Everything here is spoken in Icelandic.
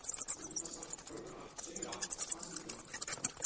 Gufudalsvatn, Brókarvatn, Sauravatn, Svansvíkurvatn